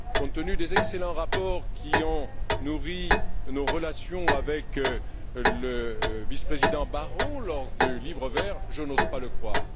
Compte tenu des excellents rapports qui ont nourri nos relations avec le vice président Barrot lors du Livre vert, je n'ose pas le croire.